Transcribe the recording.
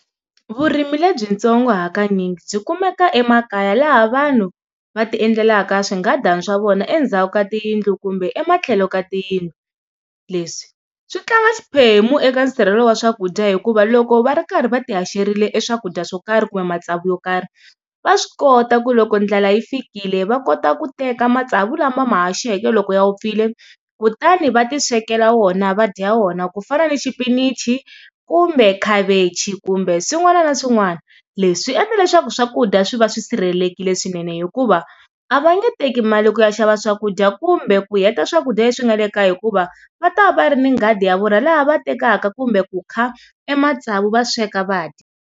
Vurimi lebyitsongo hakanyingi byi kumeka emakaya laha vanhu va ti endlelaka swinghadana swa vona endzhaku ka tiyindlu kumbe ematlhelo ka tiyindlu. Leswi swi tlanga xiphemu eka nsirhelelo wa swakudya hikuva loko va ri karhi va ti haxerile swakudya swo karhi kumbe matsavu yo karhi va swi kota ku loko ndlala yi fikile va kota ku teka matsavu lama va ma haxeke loko ya vupfile kutani va ti swekela wona va dya wona ku fana ni xipinichi kumbe khavichi kumbe swin'wana na swin'wana. Leswi swi endla leswaku swakudya swi va swi sirhelelekile swinene hikuva a va nge teki mali ku ya xava swakudya kumbe ku heta swakudya leswi nga le kaya hikuva va ta va va ri ni nghadi ya vona laha va tekaka kumbe ku kha e matsavu va sweka va dya.